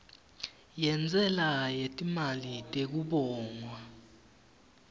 yentsela yetimali tekubongwa